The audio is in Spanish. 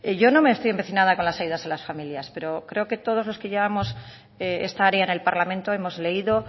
yo no estoy empecinada con las ayudas a las familias pero creo que todos los que llevamos esta área en el parlamento hemos leído